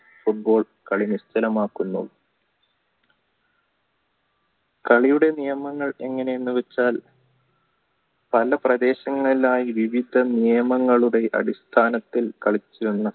football കളി നിശ്ചലമാകുന്നു കളിയുടെ നിയമങ്ങൾ എങ്ങനെന്നു വെച്ചാൽ പണ്ട് പ്രദേശങ്ങളെല്ലാം ഇതിന്ടെ നിയമങ്ങളുടെ അടിസ്ഥാനത്തിൽ കളിച്ചു വന്ന